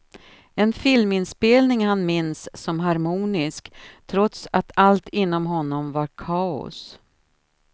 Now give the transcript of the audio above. En filminspelning han minns som harmonisk, trots att allt inom honom var kaos.